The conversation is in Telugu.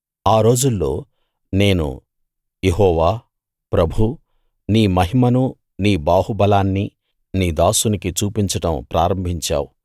ఆ రోజుల్లో నేను యెహోవా ప్రభూ నీ మహిమనూ నీ బాహుబలాన్నీ నీ దాసునికి చూపించడం ప్రారంభించావు